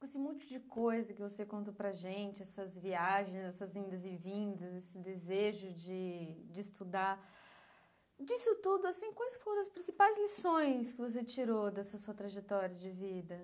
Com esse monte de coisa que você contou para a gente, essas viagens, essas vindas e vindas, esse desejo de de estudar, disso tudo, assim quais foram as principais lições que você tirou dessa sua trajetória de vida?